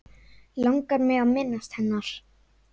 Langar mig að minnast hennar.